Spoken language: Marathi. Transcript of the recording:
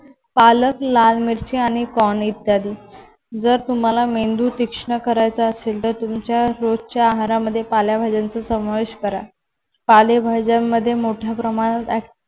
पालक लाल मिरची आणि corn इत्यादी जर तुम्हाला मेंदू तीक्ष्ण करायचा असेल तर तुमच्या रोजच्या आहारामध्ये पालेभाज्यांचा समावेश करा. पालेभाज्यांमध्ये मोठ्या प्रमाणात